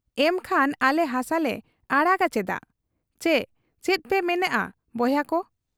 ᱮᱢᱠᱷᱟᱱ ᱟᱞᱮ ᱦᱟᱥᱟᱞᱮ ᱟᱲᱟᱜᱟ ᱪᱮᱫᱟᱜ ? ᱪᱤ ᱪᱮᱫᱯᱮ ᱢᱮᱱᱮᱜ ᱟ ᱵᱚᱭᱦᱟᱠᱚ !